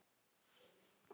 Það telur.